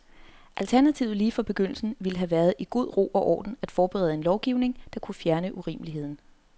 Alternativet lige fra begyndelsen ville have været i god ro og orden at forberede en lovgivning, der kunne fjerne urimeligheden.